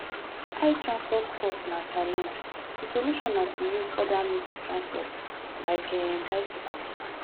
high transport cost na challenge di solution na to use oda means of transport like um bicycle